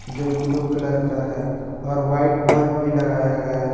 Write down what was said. जो blue colour का है और व्हाइट बल्ब भी लगाया गया है।